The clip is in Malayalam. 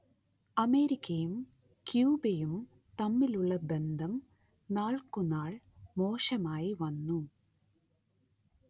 അമേരിക്കയും ക്യൂബയും തമ്മിലുള്ള ബന്ധം നാൾക്കുനാൾ മോശമായി വന്നു